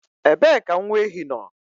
Ebee ka nwa ehi nọ?